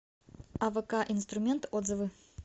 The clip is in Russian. авк инструмент отзывы